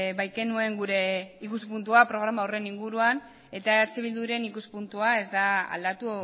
baikenuen gure ikuspuntua programa horren inguruan eta eh bilduren ikuspuntua ez da aldatu